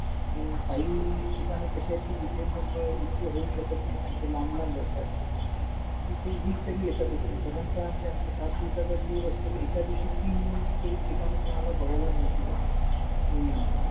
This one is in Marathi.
नवीन bank account खोलायला पण पैसे नव्हते लागत .